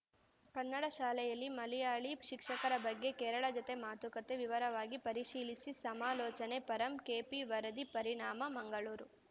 ಕನ್ನಡ ಶಾಲೆಯಲ್ಲಿ ಮಲಯಾಳಿ ಶಿಕ್ಷಕರ ಬಗ್ಗೆ ಕೇರಳ ಜತೆ ಮಾತುಕತೆ ವಿವರವಾಗಿ ಪರಿಶೀಲಿಸಿ ಸಮಾಲೋಚನೆ ಪರಂ ಕೆಪಿ ವರದಿ ಪರಿಣಾಮ ಮಂಗಳೂರು